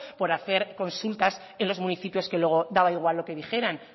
por hacer consultas en los municipios que luego daba igual lo que dijeran